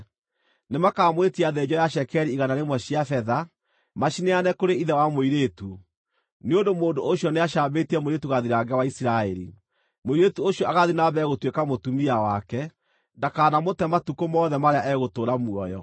Nĩmakamwĩtia thĩnjo ya cekeri igana rĩmwe cia betha, macineane kũrĩ ithe wa mũirĩtu, nĩ ũndũ mũndũ ũcio nĩacambĩtie mũirĩtu gathirange wa Isiraeli. Mũirĩtu ũcio agaathiĩ na mbere gũtuĩka mũtumia wake; ndakanamũte matukũ mothe marĩa egũtũũra muoyo.